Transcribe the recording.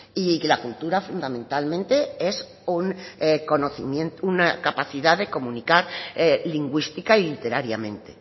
y la cultura fundamentalmente es una capacidad de comunicar lingüística y literariamente